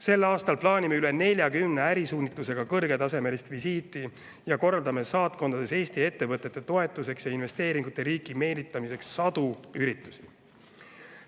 Sel aastal plaanime üle 40 ärisuunitlusega kõrgetasemelist visiiti ja korraldame saatkondades Eesti ettevõtete toetuseks ja investeeringute riiki meelitamiseks sadu üritusi.